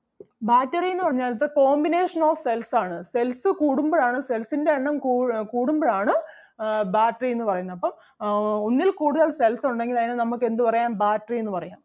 battery എന്ന് പറഞ്ഞാൽ it's a combination of cells ആണ് cells കൂടുമ്പഴാണ്ൻ്റെ cells ൻ്റെ എണ്ണം കൂ~ കൂടുമ്പഴാണ് ആഹ് battery എന്ന് പറയുന്നത്. അപ്പം ആഹ് ഒന്നിൽ കൂടുതൽ cells ഒണ്ടെങ്കിൽ അതിനെ നമുക്ക് എന്ത് പറയാം battery എന്ന് പറയാം.